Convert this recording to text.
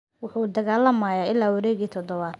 Wuxuu dagaalamay ilaa wareeggii toddobaad.